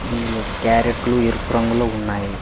ఇందులో క్యారెట్లు ఎరుపు రంగులో ఉన్నాయి.